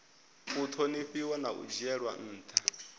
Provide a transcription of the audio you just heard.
ṱhonifhiwa na u dzhielwa nṱha